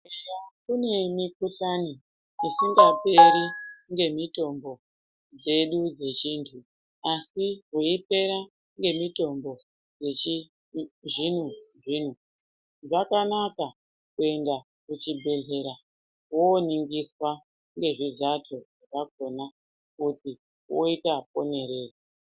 Kune mikuhlani isingaperi ngemitombo dzedu dzechiantu, asi weyipera ngemitombo yechizvino-zvino, zvakanaka kuyenda kuchibhedhlera, woningiswa ngezvizato, zvakona kuti woyita ponereyi.